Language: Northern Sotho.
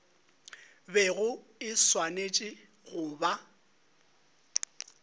bego e swanetše go ba